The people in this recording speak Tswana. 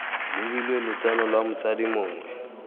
lebilwe lotseno lwa motsadi mongwe